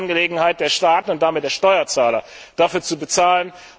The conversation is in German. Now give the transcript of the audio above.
Dann ist es Angelegenheit der Staaten und damit der Steuerzahler, dafür zu bezahlen.